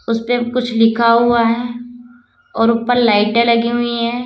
उसपे कुछ लिखा हुआ है और ऊपर लाइटें लगी हुई है।